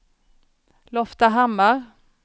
Loftahammar